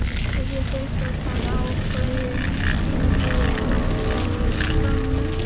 Ef ég þyrfti að taka ákvörðun myndi ég hætta við samninginn.